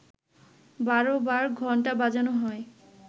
১২ বার ঘণ্টা বাজানো হয়